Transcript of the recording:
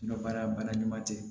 N ka baara bana ɲuman tɛ